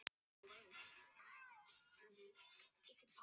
En það kostar sitt að öðlast frægð og frama.